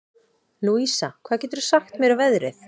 Louisa, hvað geturðu sagt mér um veðrið?